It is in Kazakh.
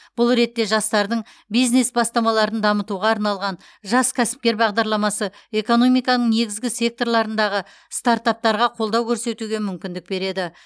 бұл ретте жастардың бизнес бастамаларын дамытуға арналған жас кәсіпкер бағдарламасы экономиканың негізгі секторларындағы стартаптарға қолдау көрсетуге мүмкіндік береді